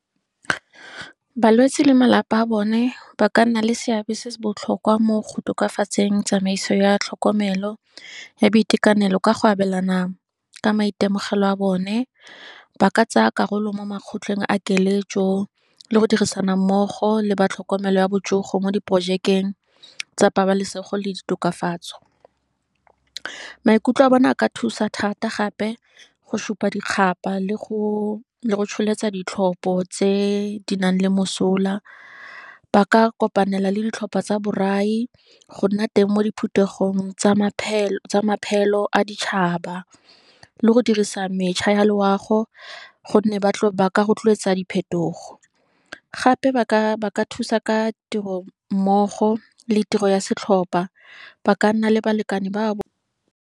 Balwetsi le malapa a bone, ba ka nna le seabe se se botlhokwa mo go tokafatseng tsamaiso ya tlhokomelo, ya boitekanelo ka go abelana ka maitemogelo a bone, ba ka tsaya karolo mo makgotleng a keletso, le go dirisana mmogo le batlhokomelo ya botsogo mo di projekeng tsa pabalesego le ditokafatso. Maikutlo a bone a ka thusa thata gape, go supa dikgapa, le go tsholetsa ditlhopho tse di nang le mosola, ba ka kopanela le ditlhopha tsa borai, go nna teng mo diphuthegong tsa maphelo a ditšhaba. Le go dirisa mešha ya loago, gonne ba ka rotloetsa diphetogo, gape ka ba thusa ka tiro mmogo le tiro ya setlhopha, ba ka nna le balekane ba.